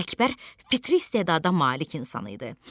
Əkbər fitri istedada malik insan idi.